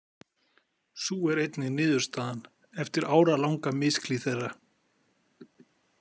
Sú er einnig niðurstaðan eftir áralanga misklíð þeirra.